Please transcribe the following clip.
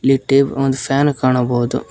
ಈ ಟೇಬ್ ಒಂದು ಫ್ಯಾನ್ ಕಾಣಬಹುದು.